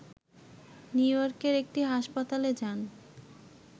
new ইয়র্কের একটি হাসপাতালে যান